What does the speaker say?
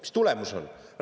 Mis tulemus on?